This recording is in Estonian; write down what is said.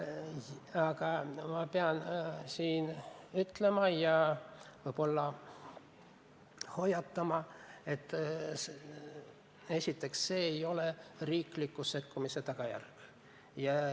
Aga ma pean ütlema ja võib-olla hoiatama, et esiteks see ei ole riikliku sekkumise tulemus.